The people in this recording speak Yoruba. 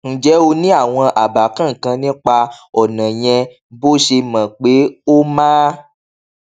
ǹjé o ní àwọn àbá kankan nípa ònà yẹn bó o ṣe mò pé ó máa